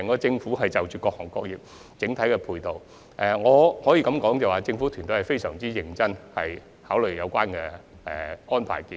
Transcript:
政府希望為各行各業提供整體的配套，因此會非常認真考慮有關的安排建議。